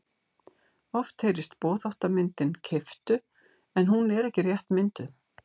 Oft heyrist boðháttarmyndin keyptu en hún er ekki rétt mynduð.